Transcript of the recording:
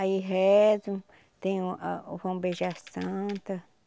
Aí rezam, tem o a o vão beijar a Santa.